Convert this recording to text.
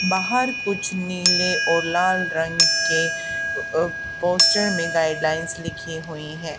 बाहर कुछ नील और लाल रंग के पोस्टर में गाइडलाइंस लिखी हुई है।